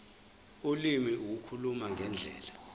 ulimi ukukhuluma ngendlela